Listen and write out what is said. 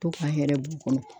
To ka hɛrɛ b'u kɔnɔ.